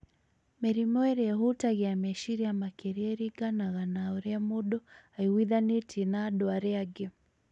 mĩrimũ ĩrĩa ĩhutagia meciria makĩria ĩringanaga na ũrĩa mũndũ aiguithanĩtie na andũ arĩa angĩ